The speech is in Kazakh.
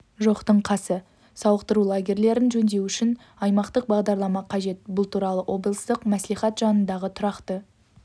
жоқтың қасы сауықтыру лагерьлерін жөндеу үшін аймақтық бағдарлама қажет бұл туралы облыстық мәслихат жанындағы тұрақты